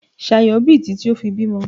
Ṣayọ̀ bì títí ó fi bímọ.